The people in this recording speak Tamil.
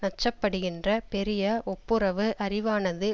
நச்சப்படுகின்ற பெரிய வொப்புரவு அறிவானது